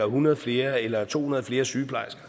hundrede flere eller to hundrede flere sygeplejersker